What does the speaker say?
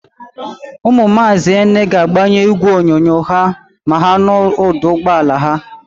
Ụmụ Maazị Ene ga-agbanyụ ígwèonyonyo ha ma ha nụ ụ̀dà ụgbọala ya.